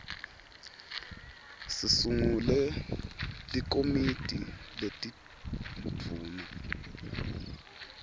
sisungule likomiti letindvuna